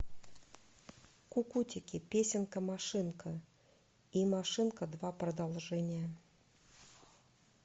кукутики песенка машинка и машинка два продолжение